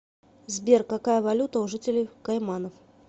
сбер какая валюта у жителей кайманов